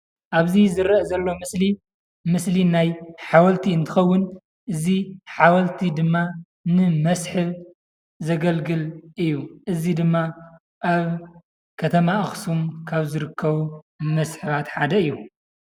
ኣብዚ ዝርአ ዘሎ ምስሊ ምስሊ ናይ ሓወልቲ እንትኸውን እዚ ሓወልቲ ድማ ንመስሕብ ዘገልግል እዩ፡፡ እዚ ድማ ኣብ ከተማ ኣኽሱም ካብ ዝርከቡ መስሕባት ሓደ እዩ፡፡